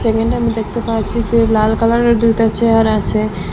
এখানটায় আমি দেখতে পারছি যে লাল কালারের দুইটা চেয়ার আছে।